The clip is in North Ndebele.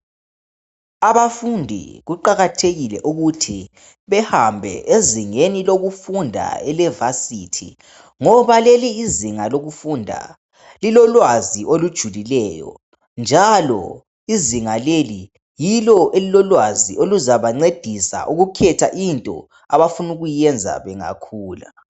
Abafundi kuqakathekile ukuthi behambe ezingeni lokufunda elevasithi, ngoba leli izinga lokufunda lilolwazi olujulileyo njalo izinga leli yilo elilolwazi oluzabancedisa ukukhetha into abafuna ukuyenza bengakhula.